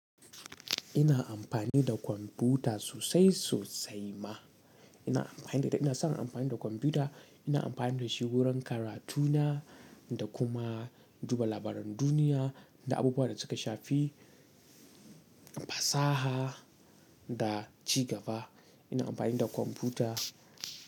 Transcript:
Ina amfani da kwamfuta sosai sosai ma. Ina amfani da ita, ina san amfani da kwamfuta, ina amfani da shi wurin karatuna da kuma duba labaran duniya da abubuwan da suka shafi fasaha da ci gaba. Ina amfani da kwamfuta.